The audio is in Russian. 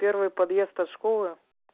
первый подъезд от школы